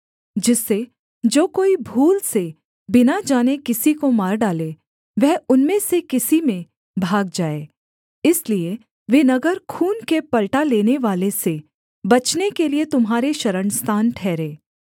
जिससे जो कोई भूल से बिना जाने किसी को मार डाले वह उनमें से किसी में भाग जाए इसलिए वे नगर खून के पलटा लेनेवाले से बचने के लिये तुम्हारे शरणस्थान ठहरें